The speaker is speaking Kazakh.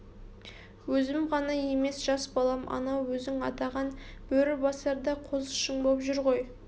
өзім ғана емес жас балам анау өзің атаған бөрібасар да қозышың боп жүр ғой